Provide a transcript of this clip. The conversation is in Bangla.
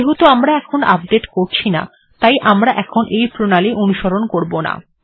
যেহেতু আমরা এখন আপডেট্ করছি না তাই আমরা এখন এই প্রণালী অনুসরণ করব না